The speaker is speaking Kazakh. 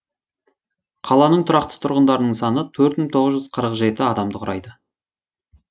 қаланың тұрақты тұрғындарының саны төрт мың тоғыз жүз қырық жеті адамды құрайды